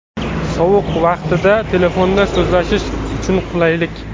Sovuq vaqtida telefonda so‘zlashish uchun qulaylik.